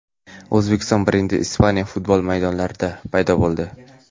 O‘zbekiston brendi Ispaniya futbol maydonlarida paydo bo‘ldi!